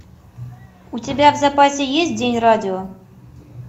у тебя в запасе есть день радио